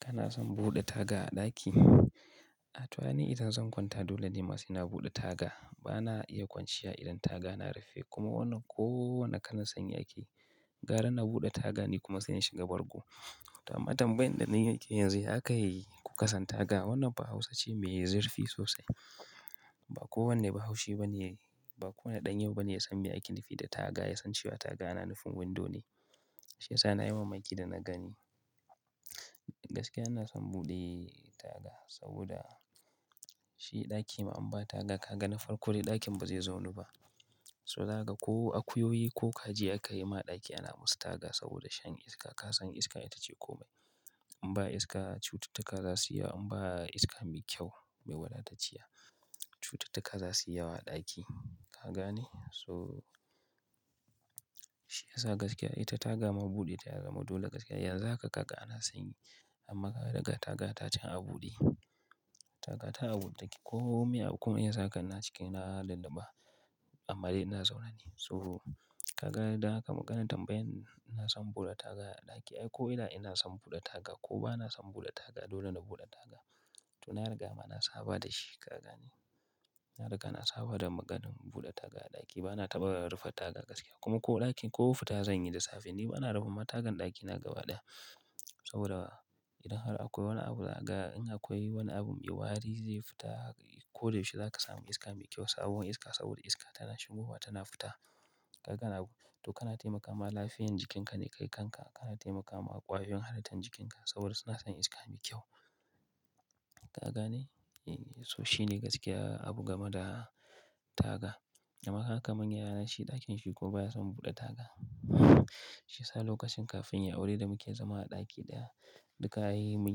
Kana son buɗe taga a ɗaki? A to ai ni idan zan kwanta dole ne ma sai na buɗe taga. Bana iya kwanciya idan taga na rufe kuma wannan ko wane kalan sanyi ake. Gara na buɗe taga ni kuma sai in shiga bargo. To amma, tambayan da ni nake yi yanzu ya aka yi, kuka san taga. Wannan fa hausa ce mai zurfi sosai. Ba kowane Bahaushe ba ne, ba kowane ɗan yau ba ne ya san miye ake nufi da taga. Ya san cewa taga na nufin window ne. Shi yasa nayi mamaki da na gani. Gaskiya ina son buɗe taga saboda shi ɗakina in ba taga ka ga na farko dai ɗakin ba zai zaunu ba. So dan haka ko akuyoyi ko kaji aka yi ma ɗaki ana musu taga saboda shan iska. Ka san iska ita ce komai. In ba iska cututtuka za suyi yawa, in ba iska mai kyau mai wadatacciya, cututtuka za suyi yawa a ɗaki. Ka gane? So shi yasa gaskiya ita taga ma buɗe ta ya zama dole gaskiya. Yanzu haka kaga ana sanyi amma ka ga, ga taga ta can a buɗe. Taga ta a buɗe take, komai wani abu ko sanyi haka zaka gan ni a ciki na lulluɓa amma dai ina zaune ne. So kaga dan haka maganar tambayan ina son buɗe taga a ɗaki. Ai ko ina, ina son buɗe taga ko bana son buɗe taga dole na buɗe taga. To na riga ma na saba da shi ka gane. Na riga na saba da maganar buɗe taga a ɗaki. Bana taɓa rufe taga gaskiya kuma ko ɗakin, ko fita zan yi da safe ni bana rufe ma tagan ɗakina gaba ɗaya. Saboda idan har akwai wani abu zaka ga, in akwai wani abu mai wari zai fita ko da yaushe zaka samu iska mai kyau sabon iska, saboda iska tana shigowa tana fita. Kaga ne, to kana taimakawa lafiyan jikinka ne kai kanka. Kana taimaka ma ƙwayoyin halittar jikinka saboda suna son iska mai kyau. Ka ga lne? So shine gaskiya abu game da taga. Amma kaga kaman yaya na, shi ɗakin shi kuma baya son buɗe taga. Shi yasa lokacin kafin yayi aure yanda muke zama a ɗaki ɗaya, duka ai mun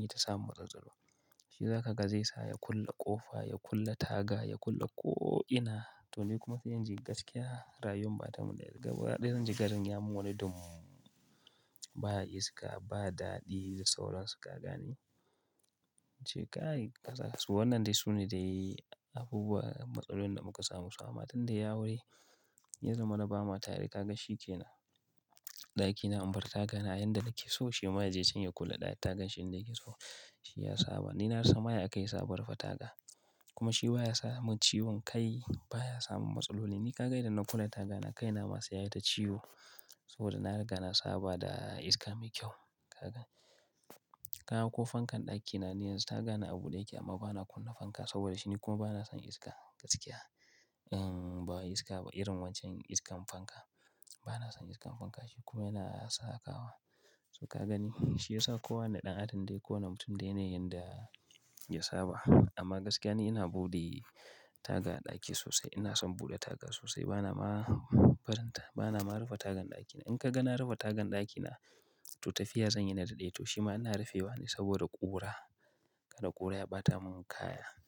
yi ta samun matsaltsalu. Shi zaka ga zai sa ya kulle ƙofa, ya kulle taga, ya kulle ko'ina to ni kuma sai in ji gaskiya rayuwar bata mun daɗi. Gaba ɗaya zan ji garin ya mun wani dum. Ba iska, ba daɗi da sauran su ka ga ne. Ce kai kasa, to wannan dai su ne dai abubuwa, matsalolin da muka samu. Amma tunda yai aure, ya zamana ba ma tare. Ka ga shi kenan, ɗakina in bar taga na yanda nake so shi ma ya je can ya kulle ɗaya. Ta gan shi in da yake so shi ya saba. Ni na rasa ma ya akai yasa abun rufe taga. Kuma shi baya samun ciwon kai baya samun matsaloli. Ni ka ga idan na kulle taga na, kaina ma sai yayi ta ciwo, saboda na riga na saba da iska mai kyau. Kaga. Kaga ko fankan ɗakina ni yanzu taga na a buɗe yake amma bana kunna fanka saboda shi, ni kuma bana son iska gaskiya. In ba iska ba, irin waccen iskar fanka. Bana son iskar fanka shi kuma yana sa a kawa. So ka gani shi yasa kowanne ɗan adam dai ko wane mutum dai da yanayin da ya saba. Amma gaskiya ni ina buɗe taga a ɗaki sosai. Ina son buɗe taga sosai, bana ma faranta, bana ma rufe tagan ɗakina. In ka ga na rufe tagan ɗakina to tafiya zan yi na daɗe. To shi ma ina rufewa ne saboda ƙura. Kada ƙura ya ɓata min kaya.